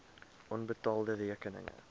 onbetaalde rekeninge